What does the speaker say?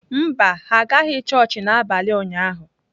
Mba, ha agaghị chọọchị n’abalị ụnyahụ